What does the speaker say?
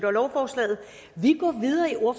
lovforslaget